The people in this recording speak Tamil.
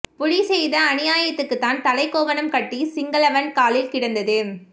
புலி செய்த அனியாய்த்துக்கு தான் தலை கோவனம் கட்டி சிங்கலவன் காலில் கிடந்தது